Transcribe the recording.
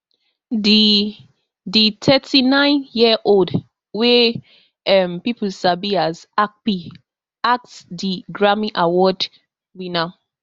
di di thirty-nineyearold wey um pipo sabi as akpi ask di grammy award winner